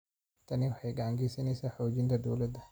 Tani waxay gacan ka geysaneysaa xoojinta dowladda.